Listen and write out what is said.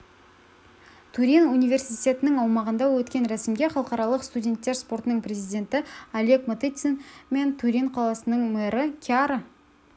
турин университетінің аумағында өткен рәсімге халықаралық студенттер спортының президенті олег матыцин мен турин қаласының мэрі кьяра